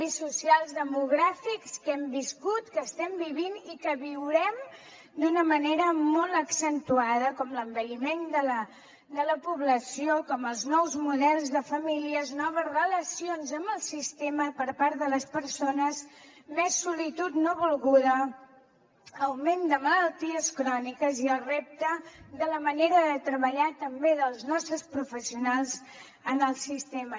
mogràfics que hem viscut que estem vivint i que viurem d’una manera molt accentuada com l’envelliment de la població com els nous models de famílies noves relacions amb el sistema per part de les persones més solitud no volguda augment de malalties cròniques i el repte de la manera de treballar també dels nostres professionals en el sistema